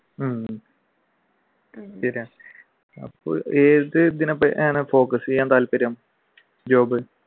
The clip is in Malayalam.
ഉം ശരിയാണ് എന്തിനെപ്പറ്റിയാണ് focus ചെയ്യാൻ താല്പര്യം job